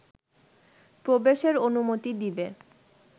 প্রবেশের অনুমতি দিবে